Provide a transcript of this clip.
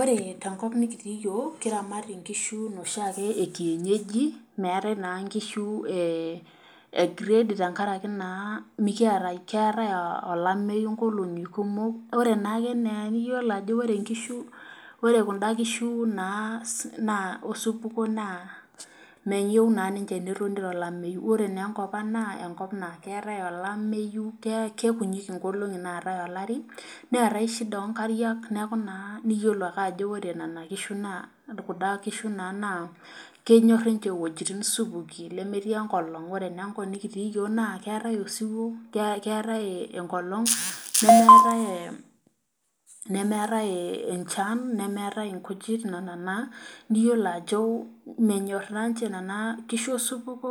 Ore tenkop nikitii yiok, kiramat nkishu noshiake ekienyeji meetai naa nkishu ekrade tenakaraki naa keetae olameyu nkolongi kumok ,ore naa ake ena eniyiolo ore kunda kishu naa osupuko naa meyieu netoni ninche tolameyu ore naa enkopang naa enkop naa keetae olameyu, keikunyi nkolongi naatae olari ,netae shida onkariak neeku naa iyiolo ajo ore kunda kishu naa kenyor ninche iwejitin supuki nemetii enkolong. ore naa enkop nikitii yiok naa keetae osupuko naa keetae enkolong nemeeta enchan nemeeta nkujit nena naa niyiolo ajo menyor naa ninche nena kishu osupuko